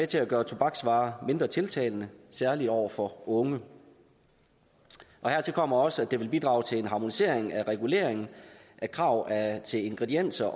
til at gøre tobaksvarer mindre tiltalende særlig over for unge hertil kommer også at det vil bidrage til en harmonisering af reguleringen af krav til ingredienser